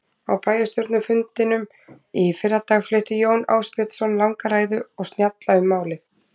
Á bæjarstjórnarfundinum í fyrradag flutti Jón Ásbjörnsson langa ræðu og snjalla um málið.